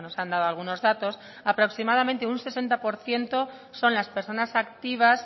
han dado algunos datos aproximadamente un sesenta por ciento son las personas activas